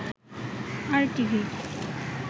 আর TV